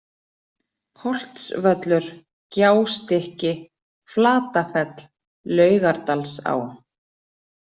Holtsvöllur, Gjástykki, Flatafell, Laugardalsá